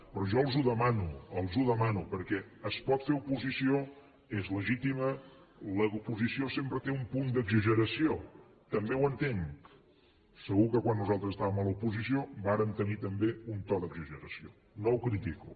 però jo els ho demano perquè es pot fer oposició és legítima l’oposició sempre té un punt d’exageració també ho entenc segur que quan nosaltres estàvem a l’oposició vàrem tenir també un to d’exageració no ho critico